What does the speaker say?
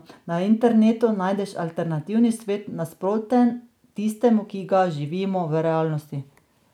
Na internetu najdeš alternativni svet, nasproten tistemu, ki ga živimo v realnosti.